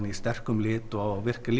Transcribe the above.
í sterkum lit og virkar